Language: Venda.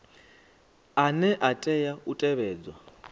ane a tea u tevhedzwa